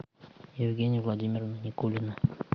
евгения владимировна никулина